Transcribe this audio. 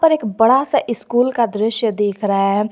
एक बड़ा सा स्कूल का दृश्य दीख रहा है।